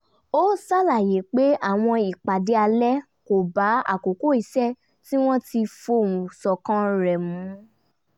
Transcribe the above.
ó ṣàlàyé pé àwọn ìpàdé alẹ́ kò bá àkókò iṣẹ́ tí wọ́n ti fohùn ṣọ̀kan rẹ̀ mu